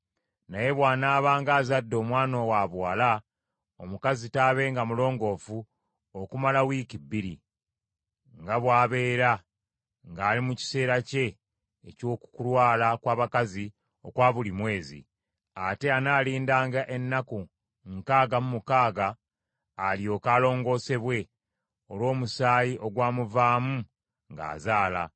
Naye bw’anaabanga azadde omwana wabuwala, omukazi taabenga mulongoofu okumala wiiki bbiri, nga bw’abeera ng’ali mu kiseera kye eky’okulwala kw’abakazi okwa buli mwezi. Ate anaalindanga ennaku nkaaga mu mukaaga alyoke alongoosebwe olw’omusaayi ogwamuvaamu ng’azaala.